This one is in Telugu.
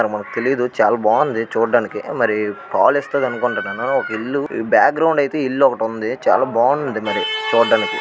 మనకు తెలీదు. చాలా బాగుంది చూడటానికి. మరి పాలిస్తది అనుకుంటున్నాను. ఒక ఇల్లు బ్యాక్ గ్రౌండ్ అయితే ఇల్లు ఒకటి ఉంది. చాలా బాగుంది మరి చూడటానికి.